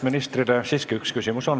Ministrile on siiski üks küsimus.